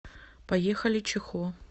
поехали чихо